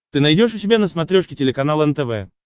ты найдешь у себя на смотрешке телеканал нтв